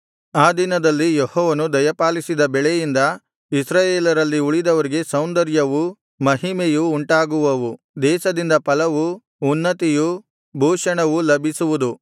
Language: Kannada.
ಆ ದಿನದಲ್ಲಿ ಯೆಹೋವನು ದಯಪಾಲಿಸಿದ ಬೆಳೆಯಿಂದ ಇಸ್ರಾಯೇಲರಲ್ಲಿ ಉಳಿದವರಿಗೆ ಸೌಂದರ್ಯವೂ ಮಹಿಮೆಯೂ ಉಂಟಾಗುವವು ದೇಶದಿಂದ ಫಲವೂ ಉನ್ನತಿಯೂ ಭೂಷಣವೂ ಲಭಿಸುವುದು